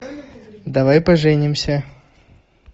давай поженимся